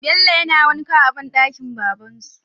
Bello yana wanka a banɗakin baban su